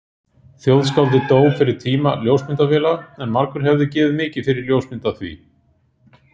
Þjóðskáldið dó fyrir tíma ljósmyndavéla en margur hefði gefið mikið fyrir ljósmynd af því.